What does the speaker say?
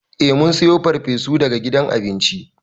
Eh mun sayo farfesu daga gidan abinci.